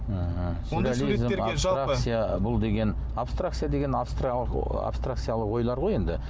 ыыы бұл деген абстракция деген абстракциялы ойлар ғой енді